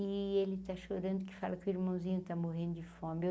E ele está chorando, que fala que o irmãozinho está morrendo de fome.